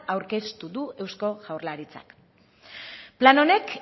aurkeztu du eusko jaurlaritzak plan honek